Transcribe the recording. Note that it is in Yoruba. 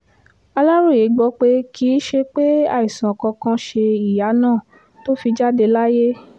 aláròye gbọ́ pé kì í ṣe pé àìsàn kankan ṣe ìyá náà tó fi jáde láyé